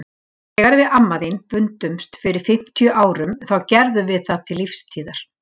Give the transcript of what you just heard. Þegar við amma þín bundumst fyrir fimmtíu árum þá gerðum við það til lífstíðar.